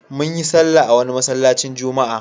Mun yi sallah a wani sabon masallaci.